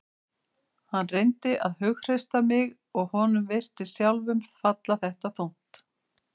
Hann reyndi að hughreysta mig og honum virtist sjálfum falla þetta þungt.